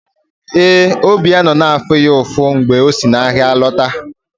Ee, obi ya nọ na-afụ ya ụfụ mgbe o si n’ahịa lọta.